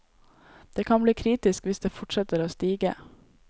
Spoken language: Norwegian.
Det kan bli kritisk hvis det fortsetter å stige.